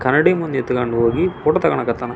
ಅಲ ಎಲ್ಲ ಯೋಗಾ ಮ್ಯಾಟ್ ಆಯಿತು ಜಿಮ್ ಏಕಿಪ್ಮೆಂಟ್ಸ್ ಆಯಿತು.